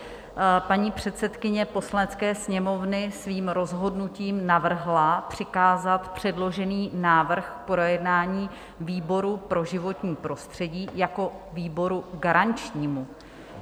Paní předsedkyně Poslanecké sněmovny svým rozhodnutím navrhla přikázat předložený návrh k projednání výboru pro životní prostředí jako výboru garančnímu.